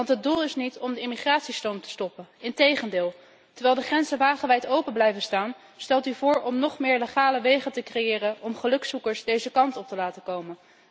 Het doel is niet om de immigratiestroom te stoppen, integendeel. Terwijl de grenzen wagenwijd open blijven staan, stelt u voor om nóg meer legale wegen te creëren om gelukszoekers deze kant op te laten komen.